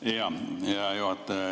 Hea juhataja!